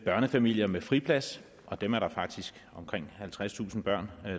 børnefamilier med friplads og der er faktisk omkring halvtredstusind børn